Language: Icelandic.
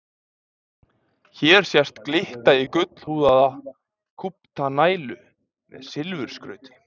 Hér sést glitta í gullhúðaða kúpta nælu með silfurskrauti.